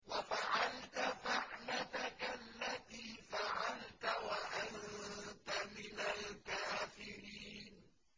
وَفَعَلْتَ فَعْلَتَكَ الَّتِي فَعَلْتَ وَأَنتَ مِنَ الْكَافِرِينَ